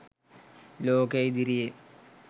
ලෝකය ඉදිරියේ